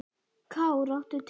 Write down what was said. Kár, áttu tyggjó?